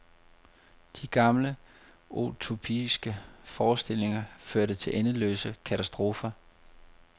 De gamle utopiske forestillinger førte til endeløse katastrofer.